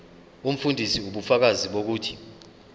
umfundisi ubufakazi bokuthi